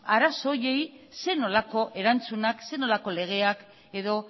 arazo horiei zer nolako erantzunak zer nolako legeak edo